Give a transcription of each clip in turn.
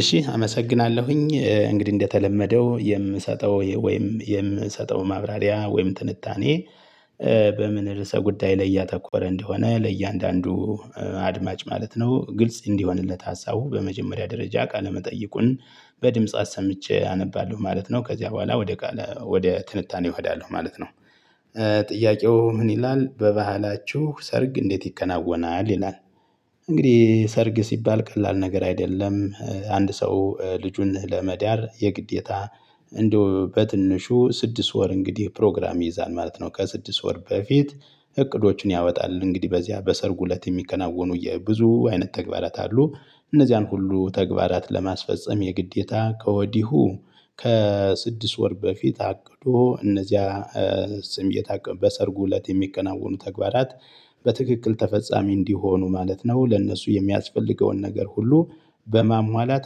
እሺ አመሰግናለሁኝ። እንግዲህ እንደተለመደው የምሰጠው ወይም የምሰጠው ማብራሪያ ወይም ትንታኔ በምን ርዕሰ ጉዳይ ላይ ያተኮረ እንደሆነ ለእያንዳንዱ አድማጭ ማለት ነው ግልጽ እንዲሆንለት ሀሳቡ በመጀመሪያ ደረጃ ቃለ መጠይቁን በድምጽ አሰምቼ አነባለሁ ማለት ነው። ከዚያ በኋላ ወደ ቃል ወደ ትንታኔ እሄዳለሁ ማለት ነው። ጥያቄው ምን ይላል በባህላችሁ ሰርግ እንዴት ይከናወናል? ይላል እንግዲህ ሰርግ ሲባል ቀላል ነገር አይደለም። አንድ ሰው ልጁን ለመዳር የግዴታ እንደው በትንሹ ስድስት ወር እንግዲህ ፕሮግራም ይይዛል ማለት ነው። ከስድስት ወር በፊት እቅዶችን ያወጣል። እንግዲህ በዚያ በሰርጉ እለት የሚከናወኑ የብዙ አይነት ተግባራት አሉ። እነዚያን ሁሉ ተግባራት ለማስፈፀም የግዴታ ከወዲሁ ከስድስት ወር በፊት አቅዶ እነዚያ ስም እየታቀበ በሰርጉ እለት የሚከናወኑ ተግባራት በትክክል ተፈጻሚ እንዲሆኑ ማለት ነው ለእነሱ የሚያስፈልገውን ነገር ሁሉ በማሟላት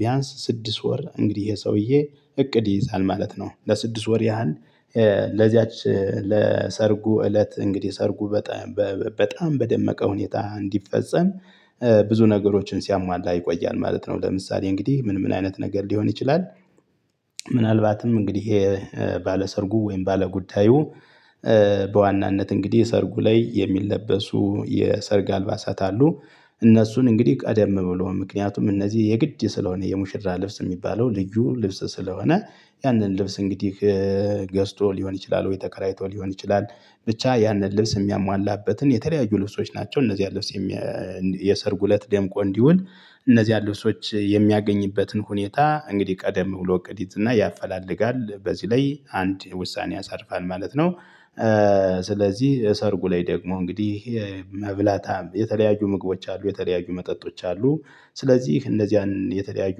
ቢያንስ ስድስት ወር እንግዲህ የሰውዬ እቅድ ይይዛል ማለት ነው። ለስድስት ወር ያህል ለዚያች ለሰርጉ እለት እንግዲህ ሰርጉ በጣም በጣም በደመቀ ሁኔታ እንዲፈጸም ብዙ ነገሮችን ሲያሟላ ይቆያል ማለት ነው። ለምሳሌ እንግዲህ ምን ምን አይነት ነገር ሊሆን ይችላል? ምናልባትም እንግዲህ ይሄ ባለሰርጉ ወይም ባለጉዳዩ በዋናነት እንግዲህ ሰርጉ ላይ የሚለበሱ የሰርግ አልባሳት አሉ። እነሱን እንግዲህ ቀደም ብሎ ምክንያቱም እነዚህ የግድ ስለሆነ የሙሽራ ልብስ የሚባለው ልዩ ልብስ ስለሆነ ያንን ልብስ እንግዲህ ገዝቶ ሊሆን ይችላል ወይ ተከራይቶ ሊሆን ይችላል፤ ብቻ ያንን ልብስ የሚያሟላበትን የተለያዩ ልብሶች ናቸው። እነዚህ ያለው ስም የሰርጉ እለት ደምቆ እንዲውል እነዚያን ልብሶች የሚያገኝበትን ሁኔታ እንግዲህ ቀደም ብሎ እቅድ ይዝና ያፈላለጋል። በዚህ ላይ አንድ ውሳኔ ያሳርፋል ማለት ነው። ስለዚህ ሰርጉ ላይ ደግሞ እንግዲህ ይሄ መብላት የተለያዩ ምግቦች አሉ የተለያዩ መጠጦች አሉ ስለዚህ እነዚያን የተለያዩ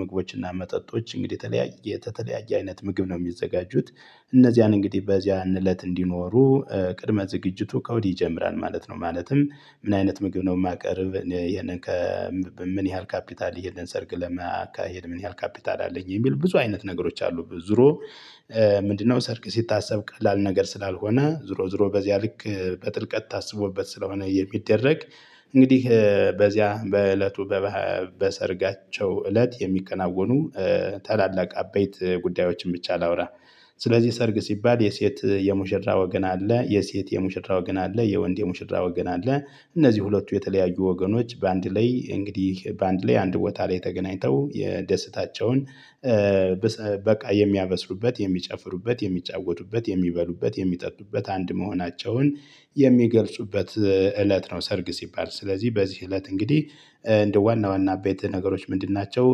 ምግቦችና መጠጦች እንግዲህ የተለያየ ከተለያየ አይነት ምግብ ነው የሚዘጋጁት። እነዚያን እንግዲህ በዚያን እለት እንዲኖሩ ቅድመ ዝግጅቱ ከወዲህ ይጀምራል ማለት ነው። ማለትም ምን አይነት ምግብ ነው የማቀርብ? ምን ያህል ካፒታል ይሄንን ሰርግ ለመካሄድ ምን ያህል ካፒታል አለኝ? የሚል ብዙ አይነት ነገሮች አሉ። ዙሮ ምንድነው ሰርግ ሲታሰብ ቀላል ነገር ስላልሆነ ዙሮ ዙሮ በዚያ ልክ በጥልቀት ታስቦበት ስለሆነ የሚደረግ እንግዲህ በዚያ በእለቱ በሰርጋቸው እለት የሚከናወኑ ታላላቅ አበይት ጉዳዮችን ብቻ ላውራ። ስለዚህ ሰርግ ሲባል የሴት የሙሽራ ወገን አለ። የሴት የሙሽራ ወገን አለ፤ የወንድ የሙሽራ ወገን አለ። እነዚህ ሁለቱ የተለያዩ ወገኖች በአንድ ላይ እንግዲህ በአንድ ላይ አንድ ቦታ ላይ ተገናኝተው የደስታቸውን በቃ የሚያበስሩበት የሚጨፍሩበት የሚጫወቱበት የሚበሉበት የሚጠጡበት አንድ መሆናቸውን የሚገልጹበት እለት ነው ሰርግ ሲባል። ስለዚህ በዚህ እለት እንግዲህ እንደ ዋና ዋና አበይት ነገሮች ምንድን ናቸው?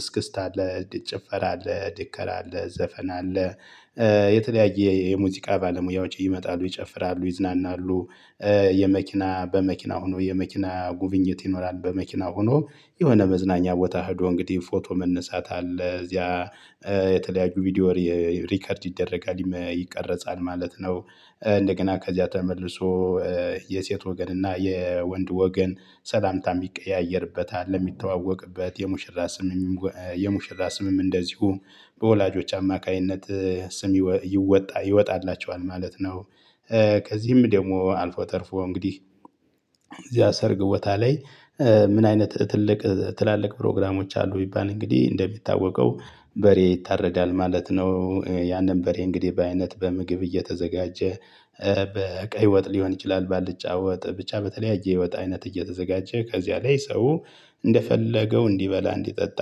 እስክስታ አለ። ጭፈራ አለ። ድከራ አለ። ዘፈን አለ። የተለያየ የሙዚቃ ባለሙያዎች ይመጣሉ። ይጨፍራሉ፤ ይዝናናሉ። የመኪና በመኪና ሆኖ የመኪና ጉብኝት ይኖራል። በመኪና ሆኖ የሆነ መዝናኛ ቦታ ሄዶ እንግዲህ ፎቶ መነሳት አለ። እዚያ የተለያዩ ቪዲዮ ሪከርድ ይደረጋል፤ ይቀርጻል ማለት ነው። እንደገና ከዚያ ተመልሶ የሴት ወገን እና የወንድ ወገን ሰላምታ የሚቀያየርበት አለ፤ የሚተዋወቅበት። የሙሽራ ስምም የሙሽራ ስምም እንደዚሁ በወላጆች አማካኝነት ስም ይወጣ ይወጣላቸዋል ማለት ነው። ከዚህም ደግሞ አልፎ ተርፎ እንግዲህ እዚያ ሰርግ ቦታ ላይ ምን አይነት ትልቅ ትላልቅ ፕሮግራሞች አሉ ቢባል እንግዲህ እንደሚታወቀው በሬ ይታረዳል ማለት ነው። ያን በሬ እንግዲህ በአይነት በምግብ እየተዘጋጀ በቀይ ወጥ ሊሆን ይችላል፤ ባልጫ ወጥ ብቻ በተለያየ የወጥ አይነት እየተዘጋጀ ከዚያ ላይ ሰው እንደፈለገው እንዲበላ እንዲጠጣ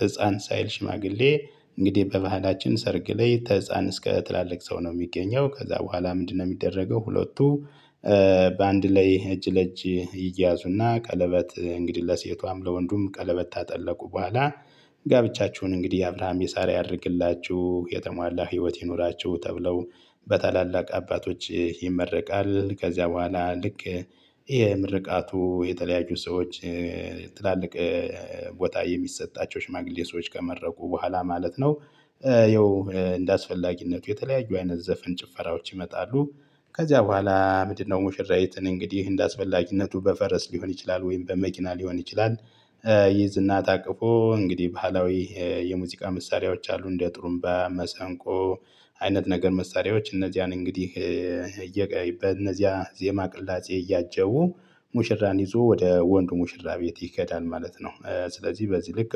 ህፃን ሳይል ሽማግሌ እንግዲህ በባህላችን ሰርግ ላይ ተህፃን እስከ ትላልቅ ሰው ነው የሚገኘው። ከዛ በኋላ ምንድነው የሚደረገው ሁለቱ በአንድ ላይ እጅ ለእጅ ይያዙና ቀለበት እንግዲህ ለሴቷም ለወንዱም ቀለበት ታጠለቁ በኋላ ጋብቻችሁን እንግዲህ አብራሃም የሳራ ያድርግላችሁ። የተሟላ ህይወት ይኑራቸው። ተብለው በታላላቅ አባቶች ይመረቃል። ከዚያ በኋላ ልክ የምርቃቱ የተለያየ ሰዎች ትላልቅ ቦታ የሚሰጣቸው ሽማግሌ ሰዎች ከመረቁ በኋላ ማለት ነው ያው እንደአስፈላጊነቱ የተለያዩ አይነት ዘፈን ጭፈራዎች ይመጣሉ። ከዚያ በኋላ ምንድነው ሙሽራይትን እንግዲህ እንደአስፈላጊነቱ በፈረስ ሊሆን ይችላል ወይም በመኪና ሊሆን ይችላል ይይዝ እና ታቅፎ እንግዲህ ባህላዊ የሙዚቃ መሳሪያዎች አሉ እንደ ጥሩምባ መሰንቆ አይነት ነገር መሳሪያዎች እነዚያን እንግዲህ እየቀየይበት በእነዚያ ዜማ ቅላጼ እያጀቡ ሙሽራን ይዞ ወደ ወንዱ ሙሽራ ቤት ይከዳል ማለት ነው። ስለዚህ በዚህ ልክ